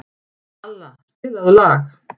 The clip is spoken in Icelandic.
Alla, spilaðu lag.